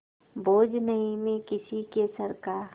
बोझ नहीं मैं किसी के सर का